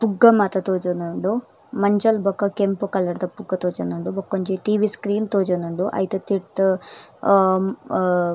ಪುಗ್ಗ ಮಾತ ತೋಜೊಂದುಂಡು ಮಂಜಲ್ ಬೊಕ ಕೆಂಪು ಕಲರ್ದ ಪುಗ್ಗ ತೋಜೊಂದುಂಡು ಬಕೊಂಜಿ ಟಿ.ವಿ ಸ್ಕ್ರೀನ್ ತೋಜೊಂದುಂಡು ಐತ ತಿರ್ತ್ ಹ ಮ್.